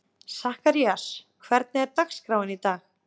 Sakarías, hvernig er dagskráin í dag?